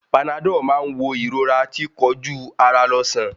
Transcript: Panadọ́ọ̀ má ń wo ìrora tí kò jù ara lọ sàn.